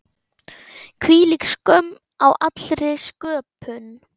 Hvílík skömm á allri sköpun.